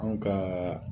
Anw ka